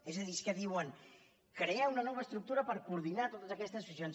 és a dir és que diuen crear una nova estructura per coordinar totes aquestes associacions